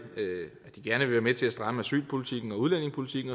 gerne vil være med til at stramme asylpolitikken og udlændingepolitikken